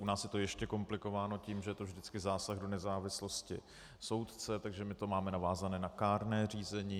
U nás je to ještě komplikováno tím, že to je vždycky zásah do nezávislosti soudce, takže my to máme navázané na kárné řízené.